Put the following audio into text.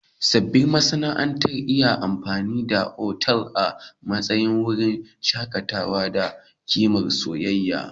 Sabbin ma'aurata na iya amfani da otal a matsayin wurin shakatawa da kimsa soyayya.